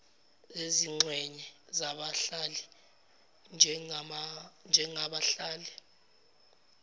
zezingxenye zabahlali njengabahlali